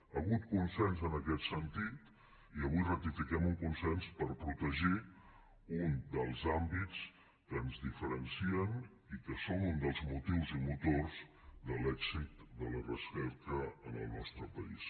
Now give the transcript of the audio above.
hi hagut consens en aquest sentit i avui ratifiquem un consens per protegir un dels àmbits que ens diferencien i que són un dels motius i motors de l’èxit de la recerca en el nostre país